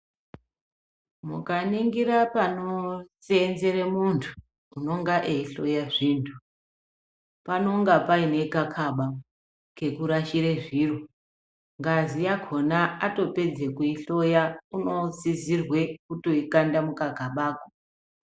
Mukaningira panoseenzera muntu unonga eihloya zvintu panonga paine kakaba kekurashira zviro ngazi yakona atopedza kuihloya unosizirwe kutoikanda mukagabako.